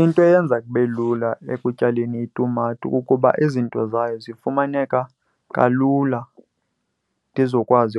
Into eyenza kube lula ekutyaleni itumato kukuba izinto zayo zifumaneka kalula ndizokwazi